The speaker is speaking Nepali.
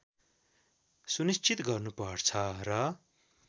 सुनिश्चित गर्नुपर्छ र